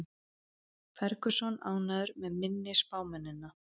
Ferguson ánægður með minni spámennina